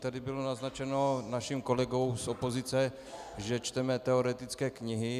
Tady bylo naznačeno naším kolegou z opozice, že čteme teoretické knihy.